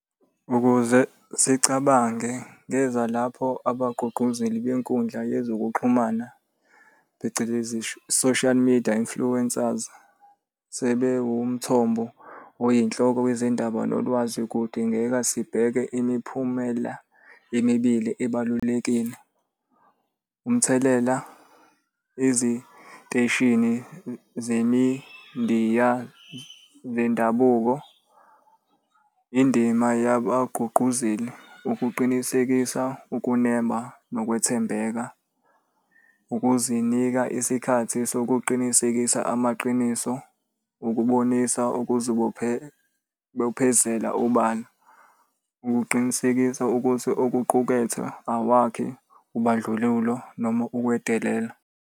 Ukuze sicabange ngeza lapho abagqugquzeli benkundla yezokuxhumana phecelezi, social media influencers. Sebewu umthombo oyinhloko wezindaba nolwazi kudingeka sibheke imiphumela emibili ebalulekile. Umthelela eziteshini zemindiya zendabuko. Indima yabagqugquzeli ukuqinisekisa ukunema nokuthembeka. Ukuzinika isikhathi sokuqinisekisa amaqiniso. Ukubonisa ukuzibophezela ubani. Ukuqinisekisa ukuthi okuqukethwe akwakhi ubandlululo noma ukwedelela.